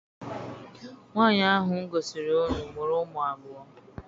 Nwaanyi ahụ m gosiri unu mụrụ ụmụ abụọ.